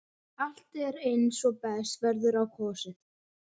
Allt er eins og best verður á kosið.